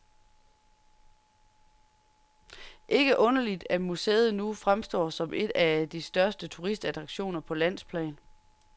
Ikke underligt, at museet nu fremstår som en af de største turistattraktioner på landsplan.